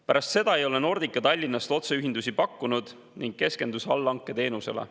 Pärast seda Nordica Tallinnast otseühendusi ei pakkunud ning keskendus allhanketeenusele.